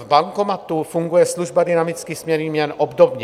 V bankomatu funguje služba dynamické směny měn obdobně.